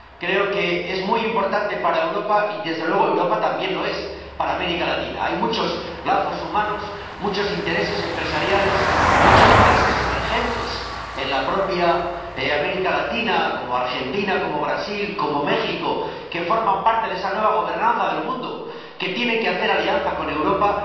Creo que es muy importante para Europa y, desde luego, Europa también lo es para América Latina. Hay muchos lazos humanos, muchos intereses empresariales, muchos países emergentes en la propia América Latina, como Argentina, Brasil o México, que forman parte de esa nueva gobernanza del mundo y que tienen que hacer alianza con Europa.